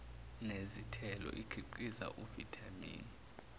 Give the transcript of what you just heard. nezithelo ikhiqiza uvithamini